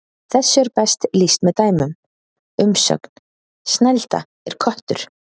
Þessu er best lýst með dæmum: Umsögn: Snælda er köttur